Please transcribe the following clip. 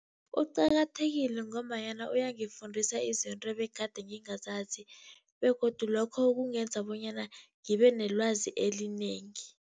Uqakathekile ngombanyana uyangifundisa izinto ebegade ngingazazi, begodu lokho kungenza bonyana ngibe nelwazi elinengi.